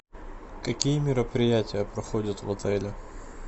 какие мероприятия проходят в отеле